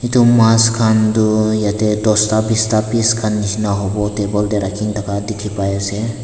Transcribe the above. edu mas khan toh dosta bista piece khan nishina howo table tae rakhina thaka dikhipaiase.